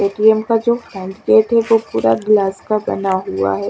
ATM का जो hand gate है वो पूरा ग्लास का बना हुआ है।